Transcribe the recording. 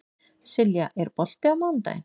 Silja, er bolti á mánudaginn?